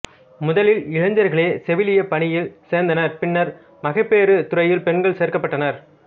முதலில் இளைஞர்களே செவிலியப் பணியில் சேர்ந்தனர் பின்னர் மகப்பேற்றுத் துறையில் பெண்கள் சேர்க்கப்பட்டனர்